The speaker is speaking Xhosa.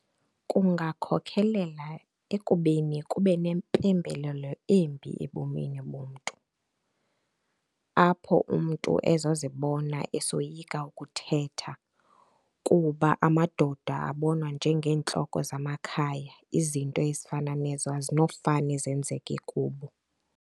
Kungakhokhelela ekubeni kube nempembelelo embi ebomini bomntu, apho umntu ezozibona esoyika ukuthetha kuba amadoda abonwa njeengentloko zamakhaya izinto ezifana nezo ezinofane zenzeke kubo.